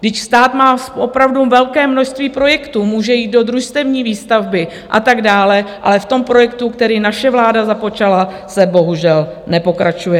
Vždyť stát má opravdu velké množství projektů, může jít do družstevní výstavby a tak dále, ale v tom projektu, který naše vláda započala, se bohužel nepokračuje.